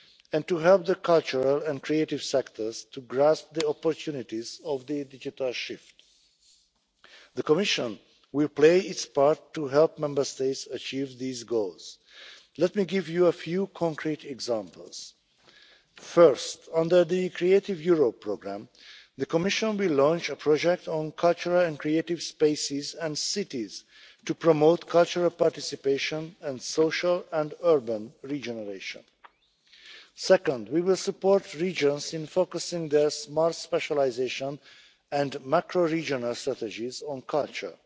areas, and to help the cultural and creative sectors to grasp the opportunities of the digital shift. The Commission will play its part to help Member States achieve these goals. Let me give you a few concrete examples. First, under the Creative Europe programme, the Commission will launch a project on cultural and creative spaces and cities to promote cultural participation and social and urban regeneration. Second, we will support regions in focusing their smart specialisation and macro-regional strategies